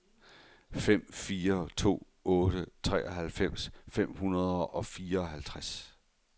fem fire to otte treoghalvfems fem hundrede og fireoghalvtreds